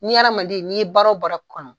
N'i adamaden n'i ye baaro baara kɔnɔ